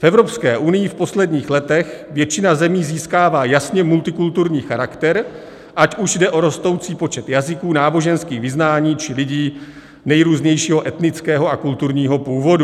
V Evropské unii v posledních letech většina zemí získává jasně multikulturní charakter, ať už jde o rostoucí počet jazyků, náboženských vyznání, či lidí nejrůznějšího etnického a kulturního původu.